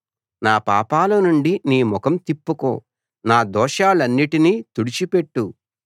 నా పాపాలనుండి నీ ముఖం తిప్పుకో నా దోషాలన్నిటినీ తుడిచి పెట్టు